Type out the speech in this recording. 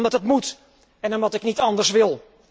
Omdat het moet, en omdat ik niet anders wil.